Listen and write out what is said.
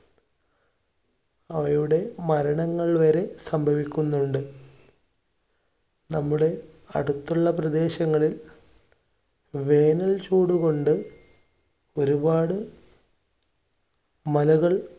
അവയുടെ മരണങ്ങൾ വരെ സംഭവിക്കുന്നുണ്ട്. നമ്മുടെ അടുത്തുള്ള പ്രദേശങ്ങളിൽ വേനൽ ചൂടുകൊണ്ട് ഒരുപാട് മലകൾ